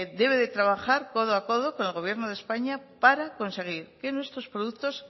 debe de trabajar codo a codo con el gobierno de españa para conseguir que nuestros productos